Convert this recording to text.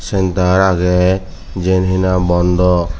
centar agey jian nahi bondoh.